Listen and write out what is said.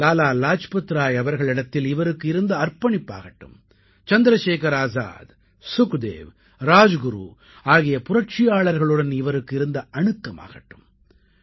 லாலா லாஜ்பத்ராய் அவர்களிடத்தில் இவருக்கு இருந்த அர்ப்பணிப்பாகட்டும் சந்திரசேகர் ஆசாத் சுக்தேவ் ராஜ்குரு ஆகிய புரட்சியாளர்களுடன் இவருக்கு இருந்த அணுக்கமாகட்டும்